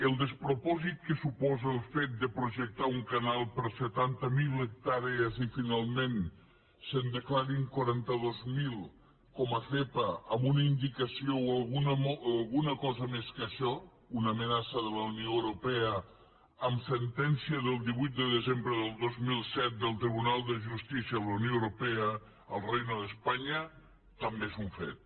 el despropòsit que suposa el fet de projectar un canal per a setanta miler hectàrees i que finalment se’n declarin quaranta dos mil com a zepa amb una indicació o alguna cosa més que això una amenaça de la unió europea amb sentència del divuit de desembre del dos mil set del tribunal de justícia de la unió europea al reino de españa també és un fet